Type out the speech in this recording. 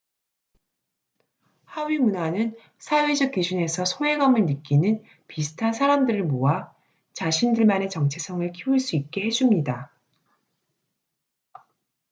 하위문화는 사회적 기준에서 소외감을 느끼는 비슷한 사람들을 모아 자신들만의 정체성을 키울 수 있게 해줍니다